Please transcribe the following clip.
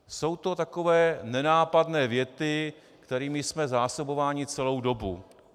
Jsou to takové nenápadné věty, kterými jsme zásobováni celou dobu.